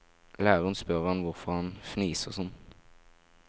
Læreren spør han hvorfor han fniser sånn.